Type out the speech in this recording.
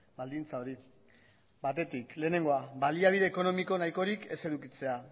baldintza hori batetik lehenengoa baliabide ekonomiko nahikorik ez edukitzea